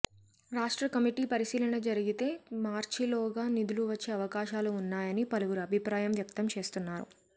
రాష్ట్ర కమిటీ పరిశీలన జరిగితే మార్చిలోగా నిధులు వచ్చే అవకాశాలు ఉన్నాయని పలువురు అభిప్రాయం వ్యక్తంచేస్తున్నారు